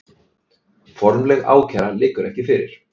Formleg ákæra liggur ekki fyrir